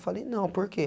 Eu falei, não, porque?